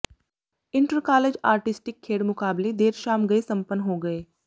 intercollege artistic ਖੇਡ ਮੁਕਾਬਲੇ ਦੇਰ ਸ਼ਾਮ ਗਏ ਸੰਪੰਨ ਹੋ ਗਏ